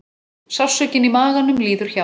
Sársaukinn í maganum líður hjá.